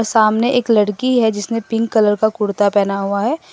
सामने एक लड़की है जिसने पिंक कलर का कुर्ता पहना हुआ है।